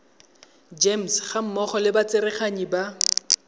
gems gammogo le batsereganyi ba